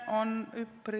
Lugupeetud kolleegid!